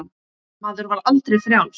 Maður var aldrei frjáls.